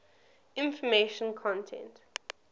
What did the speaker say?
information content